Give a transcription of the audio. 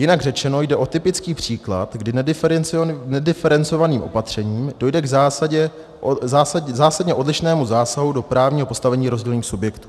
Jinak řečeno jde o typický příklad, kdy nediferencovaným opatřením dojde k zásadně odlišnému zásahu do právního postavení rozdílných subjektů.